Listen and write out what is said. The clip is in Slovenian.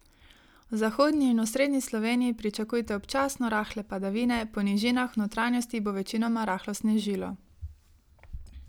V zahodni in osrednji Sloveniji pričakujte občasno rahle padavine, po nižinah v notranjosti bo večinoma rahlo snežilo.